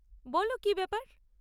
বলো, কী ব্যাপার?